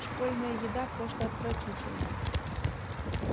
школьная еда просто отвратительна